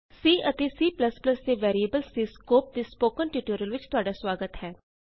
C ਅਤੇ C ਦੇ variables ਦੇ ਸਕੋਪ ਦੇ ਸਪੋਕਨ ਟਯੂਟੋਰਿਅਲ ਵਿਚ ਤੁਹਾਡਾ ਸੁਆਗਤ ਹੈ